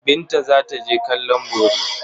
Binta za ta je kallon bori.